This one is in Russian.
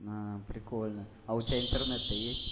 прикольно а у тебя интернет то есть